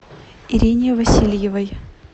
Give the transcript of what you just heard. ирине васильевой